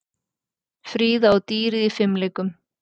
Fríða og dýrið í fimleikum